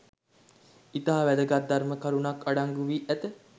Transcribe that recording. ඉතා වැදගත් ධර්ම කරුණක් අඩංගු වී ඇත